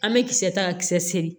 An bɛ kisɛ ta kisɛ seegin